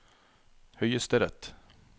høyesterett